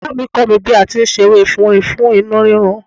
Ìyáàmi kọ́ mi bí a ti ń se ewé efinrin fún inú rírun.